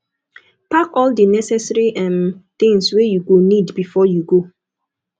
park all di necessary um things wey you go need before you go